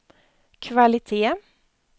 kvalitet